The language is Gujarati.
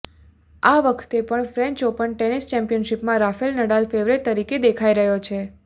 આ વખતે પણ ફ્રેન્ચ ઓપન ટેનિસ ચેમ્પિયનશીપમાં રાફેલ નડાલ ફેવરિટ તરીકે દેખાઈ રહ્યો છે